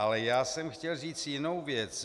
Ale já jsem chtěl říct jinou věc.